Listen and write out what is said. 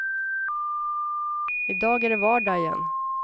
I dag är det vardag igen.